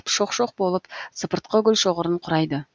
шоқ шоқ болып сыпыртқы гүлшоғырын құрайды